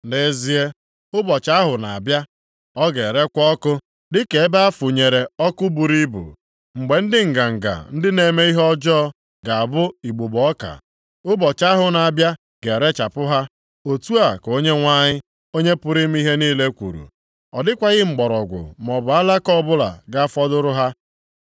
“Nʼezie, ụbọchị ahụ na-abịa, ọ ga-erekwa ọkụ dịka ebe a funyere ọkụ buru ibu. Mgbe ndị nganga, ndị na-eme ihe ọjọọ, ga-abụ igbugbo ọka, ụbọchị ahụ na-abịa ga-erechapụ ha,” otu a ka Onyenwe anyị, Onye pụrụ ime ihe niile kwuru. “Ọ dịkwaghị mgbọrọgwụ maọbụ alaka ọbụla ga-afọdụrụ ha.